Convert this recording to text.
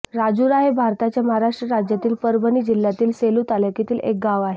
राजुरा हे भारताच्या महाराष्ट्र राज्यातील परभणी जिल्ह्यातील सेलू तालुक्यातील एक गाव आहे